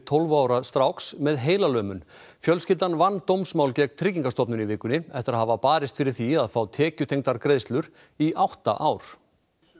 tólf ára stráks með heilalömun fjölskyldan vann dómsmál gegn Tryggingastofnun í vikunni eftir að hafa barist fyrir því að fá tekjutengdar greiðslur í átta ár